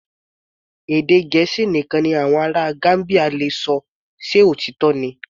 Èdè Gẹ̀ẹ́sì nìkan ni àwọn ará Gambia le ṣọ, ṣe òtítọ́ ni?